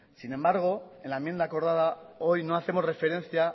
sin embargo en la enmienda acordada hoy no hacemos referencia